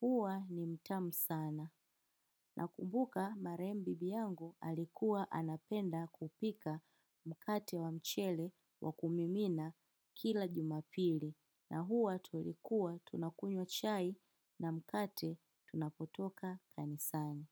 Huwa ni mtamu sana. Nakumbuka marehemu bibi yangu alikuwa anapenda kupika mkate wa mchele wa kumimina kila jumapili. Na huwa tulikuwa tunakunywa chai na mkate tunapotoka kanisani.